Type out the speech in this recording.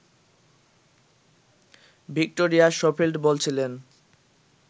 Victoria Schofield বলছিলেন